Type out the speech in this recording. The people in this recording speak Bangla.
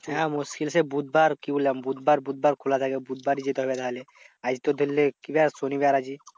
হ্যাঁ মুশকিল সেই বুধবার কি বললাম? বুধবার, বুধবার খোলা থাকে। বুধবার যেতে হবে। নাহলে আজ তো ধরলে কি বার? শনিবার আজকে।